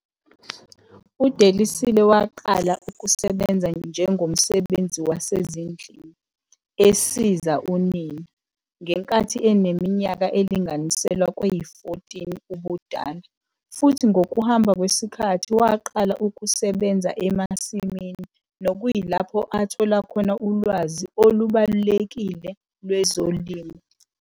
UDelisile waqala ukusebenza njengomsebenzi wasezindlini, esiza unina, ngenkathi eneminyaka elinganiselwa kweyi-14 ubudala futhi ngokuhamba kwesikhathi waqala ukusebenza emasimini nokuyilapho athola khona ulwazi olubalulekile lwezolimo.